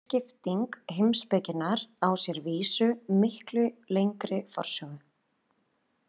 Þessi skipting heimspekinnar á sér að vísu miklu lengri forsögu.